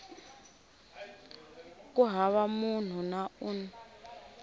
ku hava munhu na un